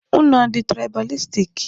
Unu adị tụraịbalistik?